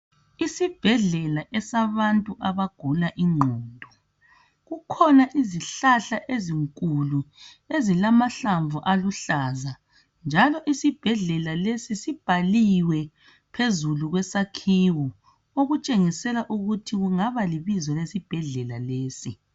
Isibhedlela esabantu abagula ingqondo .Kukhona izihlahla ezinkulu ezilamahlamvu aluhlaza .Njalo isibhedlela lesi sibhaliwe phezulu kwesakhiwo. Okutshengisela ukuthi kungaba libizo lesibhedlela lesi.